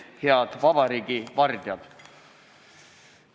Head vabariigi vardjad!